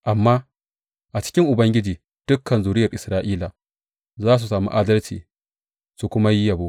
Amma a cikin Ubangiji dukan zuriyar Isra’ila za su sami adalci za su kuwa yi yabo.